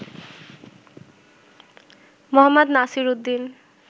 Md. Nasir Uddin